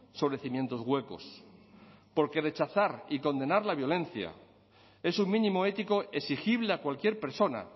sobre cimientos huecos porque rechazar y condenar la violencia es un mínimo ético exigible a cualquier persona